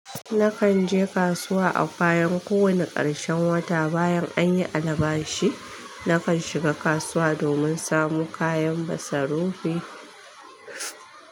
Nakan je kasuwa a bayan ko wani karshen wata. Bayan an yi albashi, nakan shiga kasuwa domin samu kayan masarufi.